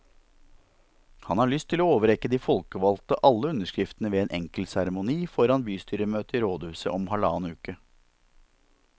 Han har lyst til å overrekke de folkevalgte alle underskriftene ved en enkel seremoni foran bystyremøtet i rådhuset om halvannen uke.